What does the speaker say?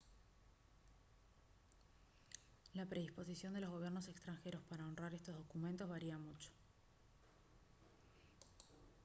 la predisposición de los gobiernos extranjeros para honrar estos documentos varía mucho